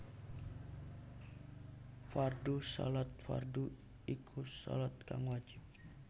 Fardhu Shalat fardhu iku shalat kang wajib